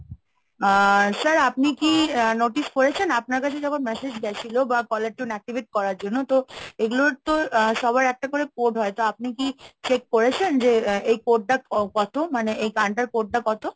আ sir আপনি কি আহ notice করেছেন আপনার কাছে যখন message গেছিলো বা caller tune activate করার জন্য, তো এগুলোর তো সবার একটা করে code হয়। তো আপনি কি check করেছেন যে এই code টা কত? মানে এই গানটার code টা কত?